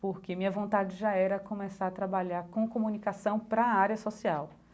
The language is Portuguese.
porque minha vontade já era começar a trabalhar com comunicação para a área social.